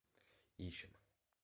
ищем